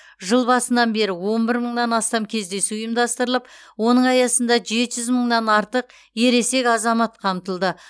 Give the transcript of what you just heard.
жыл басынан бері он бір мыңнан астам кездесу ұйымдастырылып оның аясында жеті жүз мыңнан артық ересек азамат қамтылды